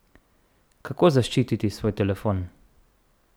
Kako zaščititi svoj telefon?